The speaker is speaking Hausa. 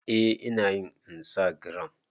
Eh inayin insagiram